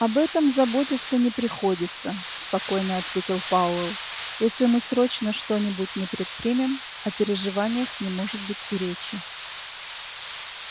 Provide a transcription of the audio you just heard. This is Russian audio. об этом заботиться не приходится спокойно ответил пауэлл если мы срочно что-нибудь не предпримем о переживаниях не может быть и речи